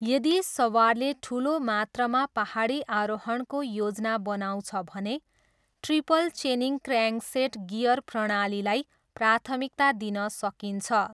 यदि सवारले ठुलो मात्रामा पाहाडी आरोहणको योजना बनाउँछ भने, ट्रिपल चेनिङ क्र्याङ्कसेट गियर प्रणालीलाई प्राथमिकता दिन सकिन्छ।